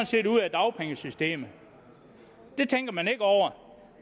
set ude af dagpengesystemet det tænker man ikke over